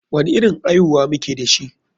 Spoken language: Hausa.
Wani irin aihuwa muke dashi?